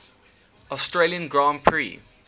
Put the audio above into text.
australian grand prix